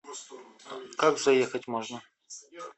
как заехать можно